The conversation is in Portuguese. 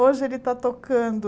Hoje ele está tocando.